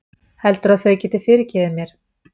Helduru að þau geti fyrirgefið mér?